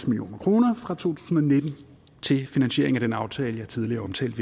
million kroner fra to tusind og nitten til finansiering af den aftale jeg tidligere omtalte